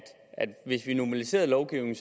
hvis vi normaliserede lovgivningen